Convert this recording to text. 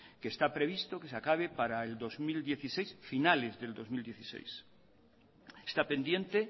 que está previsto que se acabe para el dos mil dieciséis finales del dos mil dieciséis está pendiente